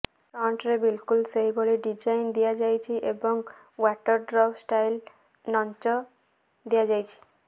ଫ୍ରଣ୍ଟରେ ବିଲକୁଲ ସେହିଭଳି ଡିଜାଇନ ଦିଆଯାଇଛି ଏବଂ ଓ୍ବାଟର ଡ୍ରପ୍ ଷ୍ଟାଇଲ ନଞ୍ଚ ଦିଆଯାଇଛି